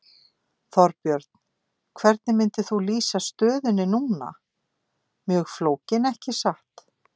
Þorbjörn: Hvernig myndir þú lýsa stöðunni núna, mjög flókin ekki satt?